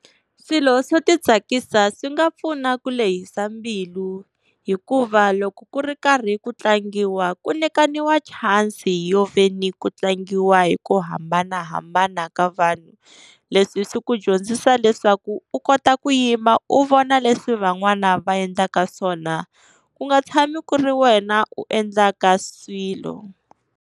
Swilo swo ti tsakisa swi nga pfuna ku lehisa mbilu, hikuva loko ku ri karhi ku tlangiwa ku nyikaniwa chance yo veni ku tlangiwa hi ku hambanahambana ka vanhu. Leswi swi ku dyondzisa leswaku u kota ku yima u vona leswi van'wana va endlaka swona u nga tshami ku ri wena u endlaka swilo.